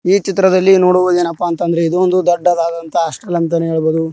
ಈ ಚಿತ್ರದಲ್ಲಿ ನೋಡುವುದ ಏನಪ್ಪ ಅಂತ ಅಂದ್ರೆ ಇದು ಒಂದು ದೊಡ್ಡದಾದ ಹಾಸ್ಟೆಲ್ ಅಂತಾನೆ ಹೇಳಬಹುದು.